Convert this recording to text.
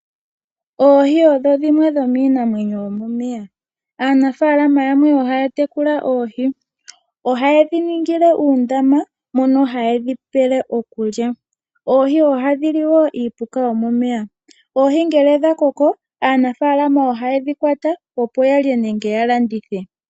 Oohi odho dhimwe dhomiinamwenyo yomomeya, aanafaalama yamwe ohaya tekula oohi, oha yedhi ningile uundama mono haye dhi pele okulya. Oohi ohadhi li woo iipuka yo momeya. Oohi ngele dha koko aanafaalama oha yedhi kwata, opo yalye nenge ya landithe.